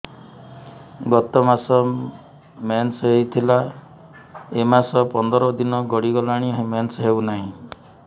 ଗତ ମାସ ମେନ୍ସ ହେଇଥିଲା ଏ ମାସ ପନ୍ଦର ଦିନ ଗଡିଗଲାଣି ମେନ୍ସ ହେଉନାହିଁ